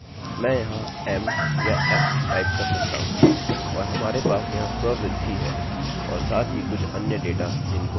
उदाहरणस्वरूप यदि मैं सबको संचय करना चाहता हूँ मैं यहाँ डिफॉल्ट से पुरुष या डिफॉल्ट से स्त्री पंजीकृत करता हूँमैं यहाँ m या f टाइप कर सकता हूँ